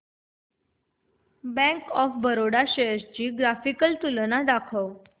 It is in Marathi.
बँक ऑफ बरोडा शेअर्स ची ग्राफिकल तुलना दाखव